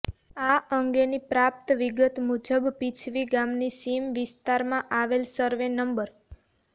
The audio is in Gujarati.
આ અંગેની પ્રાપ્ત વિગત મુજબ પીછવી ગામની સીમ વિસ્તારમાં આવેલ સર્વે નં